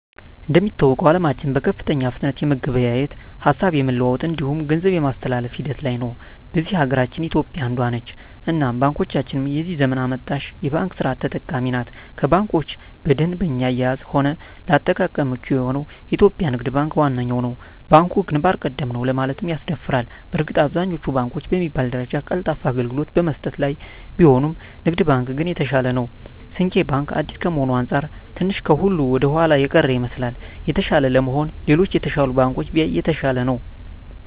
እንደሚታወቀዉ አለማችን በከፍተኛ ፍጥነት የመገበያየት፣ ሀሳብ የመለዋወጥ እንዲሁም ገንዘብ የማስተላፍ ሂደት ላይ ነዉ። በዚህ ሀገራችን ኢትዮጵያ አንዷ ነት እናም ባንኮቻችንም የዚህ ዘመን አመጣሽ የባንክ ስርት ተጠቃሚ ናት ከባንኮች በደንበኛ አያያዝም ሆነ ለአጠቃቀም ምቹ የሆነዉ የኢትዮጵያ ንግድ ባንክ ዋነኛዉ ነዉ። ባንኩ ግንባር ቀደም ነዉ ለማለትም ያስደፍራል በእርግጥ አብዛኛወቹ ባንኮች በሚባል ደረጃ ቀልጣፋ አገልግሎት በመስጠት ላይ ቢሆኑም ንግድ ባንክ ግን የተሻለ ነዉ። ስንቄ ባንክ አዲስ ከመሆኑ አንፃር ትንሽ ከሁሉ ወደኋላ የቀረ ይመስላል። የተሻለ ለመሆን ሌሎች የተሻሉ ባንኮችን ቢያይ የተሻለ ነዉ።